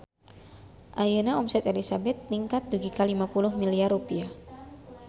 Ayeuna omset Elizabeth ningkat dugi ka 50 miliar rupiah